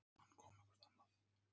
Linda: Hann kom eitthvert annað?